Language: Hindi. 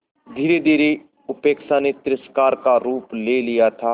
धीरेधीरे उपेक्षा ने तिरस्कार का रूप ले लिया था